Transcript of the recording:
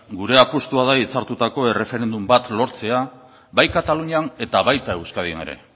gure apustua da hitzartutako erreferendum bat lortzea bai katalunian eta baita euskadin ere